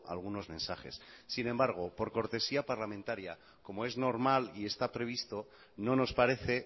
algunos mensajes sin embargo por cortesía parlamentaria como es normal y está previsto no nos parece